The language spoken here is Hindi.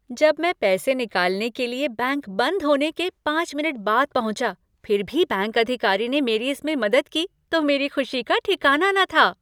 जब मैं पैसे निकालने के लिए बैंक बंद होने के पाँच मिनट बाद पहुँचा फिर भी बैंक अधिकारी ने इसमें मेरी मदद की तो मेरी खुशी का ठिकाना न था।